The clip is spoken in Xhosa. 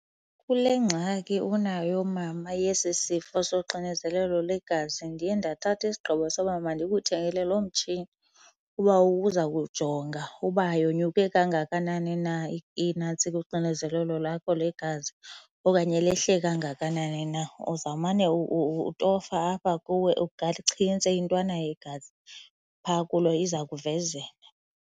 Kule ngxaki unayo mama yesi sifo soxinezelelo lwegazi ndiye ndathatha isigqibo soba mandikuthengele loo mtshini uba uza kujonga uba yonyuke kangakanani na inantsika uxinezelelo lakho legazi okanye lehle kangakanani na. Uzawumane utofa apha kuwe, uchintse intwana yegazi phaa kulo iza kuvezela.